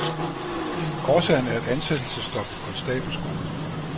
Årsagen er et ansættelsesstop på konstabelskolen.